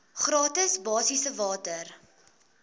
gratis basiese water